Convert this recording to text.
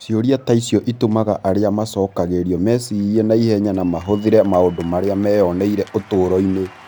Ciũria ta icio itũmaga arĩa macokagĩrio mecirie na ihenya na mahũthĩre maũndũ marĩa meyoneire ũtũũro-inĩ.